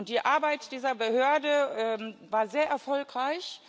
Die Arbeit dieser Behörde war sehr erfolgreich.